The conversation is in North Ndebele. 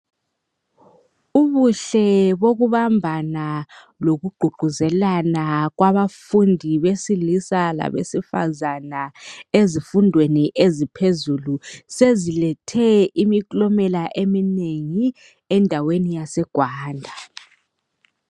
Ubuhle bokubambana lokugqugquzelana kwabafundi besilisa labesifazana ezifundweni eziphezulu, sezilethe imiklomela eminengi endaweni yase EGwanda.